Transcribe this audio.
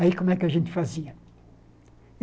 Aí como é que a gente fazia?